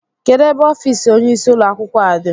Kedu ebe ọfiisi ónyé isi ụlọ akwụkwọ a dị?